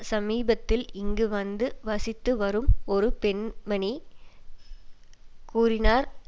சமீபத்தில் இங்கு வந்து வசித்து வரும் ஒரு பெண்மணி கூறினார்